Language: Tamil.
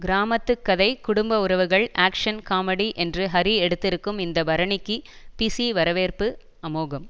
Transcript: கிராமத்து கதை குடும்ப உறவுகள் ஆக்ஷ்ன் காமெடி என்று ஹரி எடுத்திருக்கும் இந்த பரணிக்கு பி சி வரவேற்பு அமோகம்